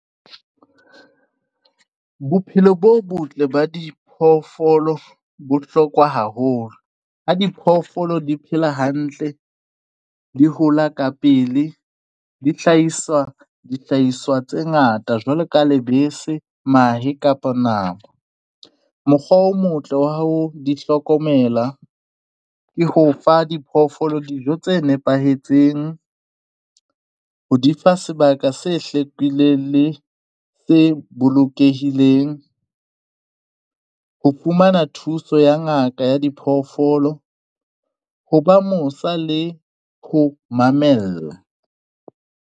Bophelo bo botle ba diphoofolo bo bohlokwa haholo ha diphoofolo di phela hantle, di hola ka pele dihlahisa, dihlahiswa tse ngata jwalo ka lebese, mahe kapa nama. Mokgwa o motle wa ho di hlokomela ke ho fa diphoofolo dijo tse nepahetseng ho di fa sebaka se hlwekileng le se bolokehileng ho fumana thuso ya ngaka ya diphoofolo. Ho ba mosa le ho di mamella.